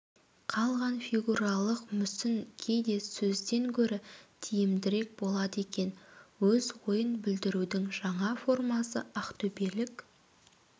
қалған фигуралық мүсін кейде сөзден гөрі тиімдірек болады екен өз ойын білдірудің жаңа формасы ақтөбелік